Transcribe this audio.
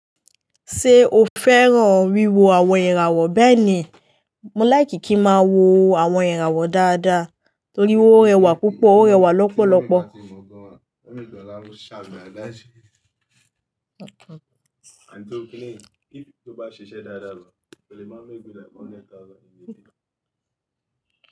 Ṣé o fẹ́ràn wíwo àwọn ìràwọ̀ bẹ́ẹ̀ ni, mo like kí máa wo àwọn ìràwọ̀ dáadáa torí ó rẹwà púpọ̀, ó rẹwà lọ́pọ̀lọpọ̀.